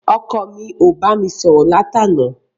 Ọkọ mi ò bámi sọ̀rọ̀ láti àná.